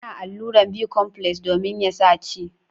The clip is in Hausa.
Ana alluran bicomfles domin ya sa ci.